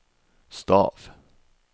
stav